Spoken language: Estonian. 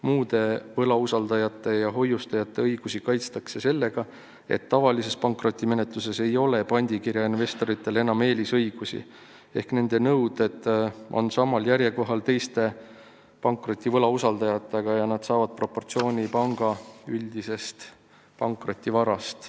Muude võlausaldajate ja hoiustajate õigusi kaitstakse sellega, et tavalises pankrotimenetluses ei ole pandikirja investoritel enam eelisõigusi ehk nende nõuded on samal järjekorra kohal teiste pankroti võlausaldajatega ja nad saavad proportsionaalse hüvitise panga üldisest pankrotivarast.